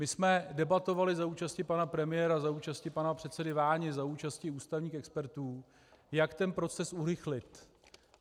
My jsme debatovali za účasti pana premiéra, za účasti pana předsedy Váni, za účasti ústavních expertů, jak ten proces urychlit.